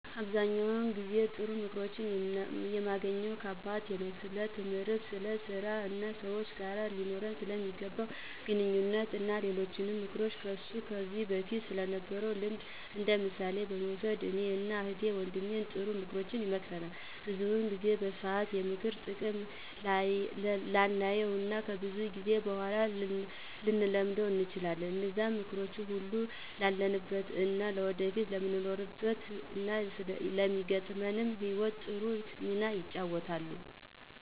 አብዛኛውን ጊዜ ጥሩ ምክሮችን የማገኘው ከአባቴ ነው። ስለትምህርት፣ ስለ ስራ እና ሰወች ጋር ሊኖረን ስለሚገባ ግንኙነት እና በሌሎችም ምክንያቶች ከሱ ከዚ በፊት ስለነበረው ልምድ እንደምሳሌ በመውሰድ እኔን እና እህት ወንድሜን ጥሩ ምክሮችን ይመክረናል። ብዙውን ጊዜ በሰአቱ የምክሩን ጥቅም ላናየው እና ከብዙ ጊዜ በኋላ ልንረደው እንችላለን። እነዛም ምክሮች አሁን ላለንበት እና ወደፊት ለሚኖረን እና ለሚገጥመን ህይወት ጥሩ ሚና ይጫወታሉ።